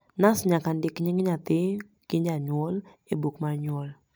nas nyaka ndik ying nyathi go nying janyuol e buk mar nyuol